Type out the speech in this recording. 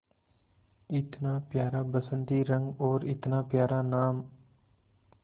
इतना प्यारा बसंती रंग और इतना प्यारा नाम